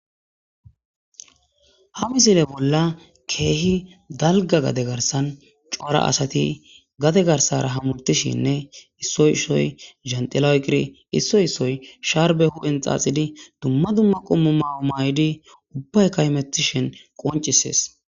ha misile bolla keehi dalga gade garsan cora asati gade garsara hamurtishinne issoyissoy zentiloyqiri issoy issoy sharbe hu7hen xaaxidi dumma dumma qommu mayo may7idi ubbay kaymetishen qoncisees